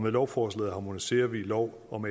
lovforslaget harmoniserer vi lov om